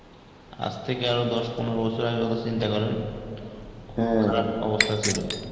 আজ থেকে আরো দশ পনেরো বছর আগের কথা চিন্তা করেন খারাপ অবস্থা ছিল.